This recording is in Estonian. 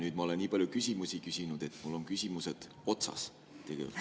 Nüüd ma olen nii palju küsimusi küsinud, et mul on küsimused otsas tegelikult.